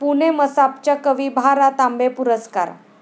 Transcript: पुणे मसापच्या कवी भा.रा. तांबे पुरस्कार.